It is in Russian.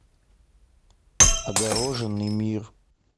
огороженный мир